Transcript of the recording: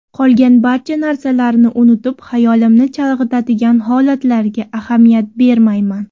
Qolgan barcha narsalarni unutib, xayolimni chalg‘itadigan holatlarga ahamiyat bermayman.